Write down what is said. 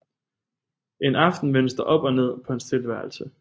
En aften vendes der op og ned på hans tilværelse